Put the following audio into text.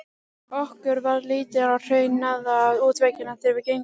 Okkur varð litið á hraunaða útveggina þegar við gengum inn.